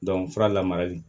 fura lamarali